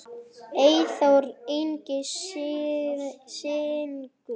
Eyþór Ingi syngur.